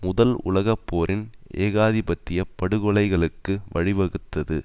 முதல் உலக போரின் ஏகாதிபத்திய படுகொலைகளுக்கு வழிவகுத்தது